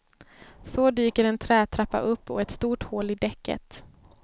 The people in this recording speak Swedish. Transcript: Så dyker en trätrappa upp och ett stort hål i däcket.